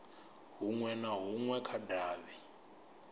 hunwe na hunwe kha davhi